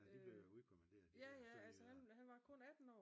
Ja de blev jo udkommanderet de sønderjyder